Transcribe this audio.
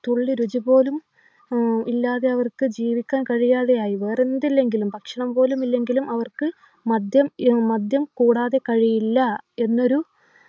തുള്ളി രുചി പോലും ആഹ് ഇല്ലാതെ അവർക്ക് ജീവിക്കാൻ കഴിയാതെയായി വേറെന്തില്ലെങ്കിലും ഭക്ഷണം പോലുമില്ലെങ്കിലും അവർക്ക് മദ്യം ഏർ മദ്യം കൂടാതെ കഴിയില്ല എന്നൊരു